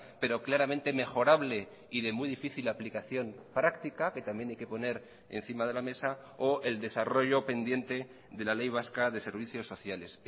pero claramente mejorable y de muy difícil aplicación práctica que también hay que poner encima de la mesa o el desarrollo pendiente de la ley vasca de servicios sociales